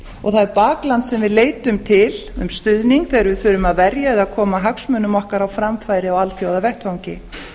og það er bakland sem við leitum til um stuðning þegar við þurfum að verja eða koma hagsmunum okkar á framfæri á alþjóðavettvangi